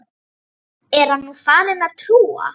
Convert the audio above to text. Er hann nú farinn að trúa?